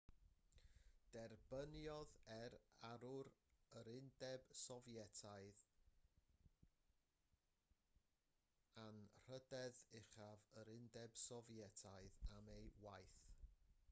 derbyniodd e'r arwr yr undeb sofietaidd anrhydedd uchaf yr undeb sofietaidd am ei waith